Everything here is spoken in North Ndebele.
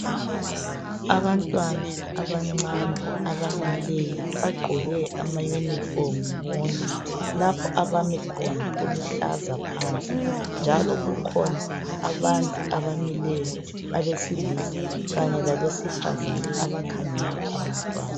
Abantwana abancane abamileyo, Bagqoke amauniform bonke. Lapho abami khona kuluhlaza phansi. Njalo kukhona abantu abamileyo. Abesilisa kanye labesifazana, abakhangele abantwana.